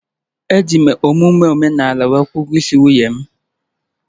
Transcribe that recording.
Eji m omume omenala kwụọ ụgwọ ịse nwunye m